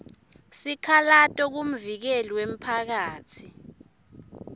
sikhalato kumvikeli wemphakatsi